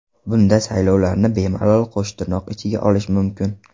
Bunda saylovlarni bemalol qo‘shtirnoq ichiga olish mumkin.